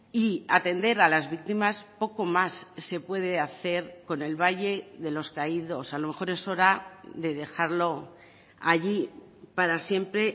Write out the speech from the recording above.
y atender a las víctimas poco más se puede hacer con el valle de los caídos a lo mejor es hora de dejarlo allí para siempre